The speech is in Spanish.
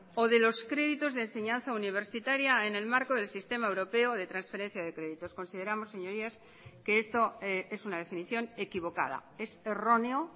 o de los créditos de enseñanza universitaria en el marco del sistema europeo de transferencia de créditos consideramos señorías que esto es una definición equivocada es erróneo